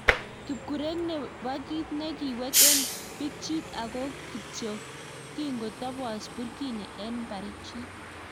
Kipkureek nebo kit ne kiwet en pikchit ago ko kityo king'otopos Burkini en barichik.